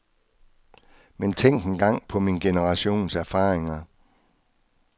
Men tænk engang på min generations erfaringer.